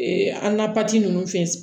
an na pasi ninnu fɛn